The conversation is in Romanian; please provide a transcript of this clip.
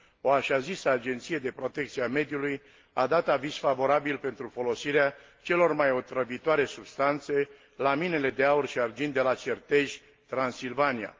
O așa zisă Agenție de protecție a mediului a dat aviz favorabil pentru folosirea celor mai otrăvitoare substanțe la minele de aur și argint de la Certej, Transilvania.